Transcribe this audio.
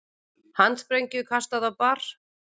Handsprengju kastað á bar